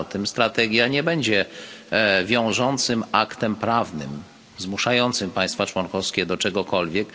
Strategia nie będzie wiążącym aktem prawnym zmuszającym państwa członkowskie do czegokolwiek.